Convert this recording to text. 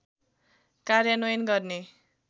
कार्यान्वयन गर्ने